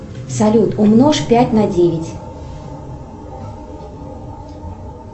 салют умножь пять на девять